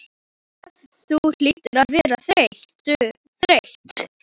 Hvað þú hlýtur að vera þreytt.